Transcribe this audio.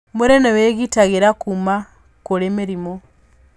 Mwĩrĩ nĩ wĩgitagĩra kuma kũrĩ mĩrimũ.